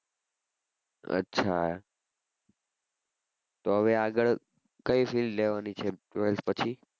અચ્છા તો હવે આગળ કઈ field લેવાની છે twelfth પછી